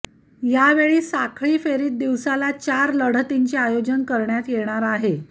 यावेळी साखळी फेरीत दिवसाला चार लढतींचे आयोजन करण्यात येणार आहे